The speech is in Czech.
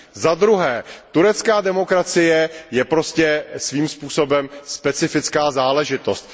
Zadruhé turecká demokracie je prostě svým způsobem specifická záležitost.